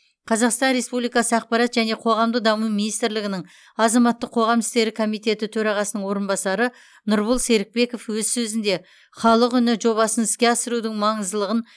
қазақстан республикасы ақпарат және қоғамдық даму министрлігінің азаматтық қоғам істері комитеті төрағасының орынбасары нұрбол серікбеков өз сөзінде халық үні жобасын іске асырудың маңыздылығын